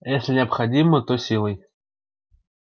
если необходимо то силой